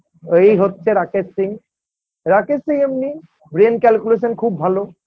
এই হচ্ছে রাকেশ সিং রাকেশ সিং এমনি Brain calculation খুব ভালো